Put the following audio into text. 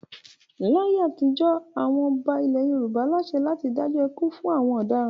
Láyé àtijọ́ àwọn ọba ilẹ̀ Yorùbá láṣẹ láti dájọ́ ikú fún àwọn ọ̀daràn.